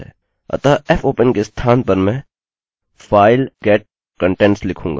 अतःfopen के स्थान पर मैं file_get_contents लिखूँगा